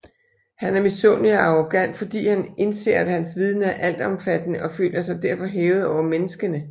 Han er misundelig og arrogant fordi han indser at hans viden er altomfattende og føler sig derfor hævet over menneskerne